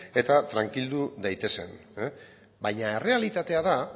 eta trankildu daitezen baina errealitatea da